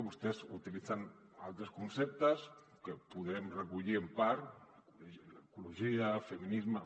vostès utilitzen altres conceptes que podem recollir en part l’ecologia el feminis·me